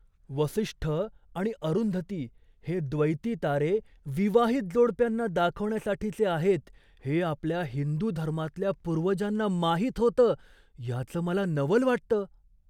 वसिष्ठ आणि अरुंधती हे द्वैती तारे विवाहित जोडप्यांना दाखवण्यासाठीचे आहेत हे आपल्या हिंदू धर्मातल्या पूर्वजांना माहीत होतं, याचं मला नवल वाटतं.